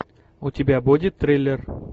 у тебя будет триллер